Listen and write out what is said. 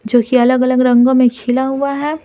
जो कि अलग-अलग रंगों में खिला हुआ है।